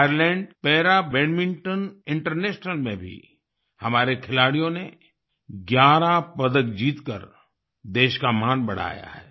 Ireland para badminton international में भी हमारे खिलाड़ियों ने 11 पदक जीतकर देश का मान बढ़ाया है